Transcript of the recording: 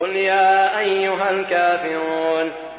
قُلْ يَا أَيُّهَا الْكَافِرُونَ